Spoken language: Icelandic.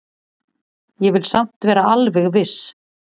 Ég vil samt vera alveg viss.